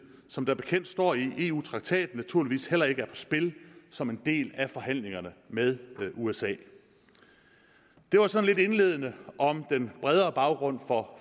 som bekendt står i eu traktaten naturligvis heller ikke er i spil som en del af forhandlingerne med usa det var sådan lidt indledende om den bredere baggrund for